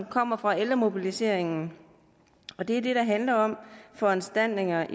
kommer fra ældremobiliseringen og det er det der handler om foranstaltninger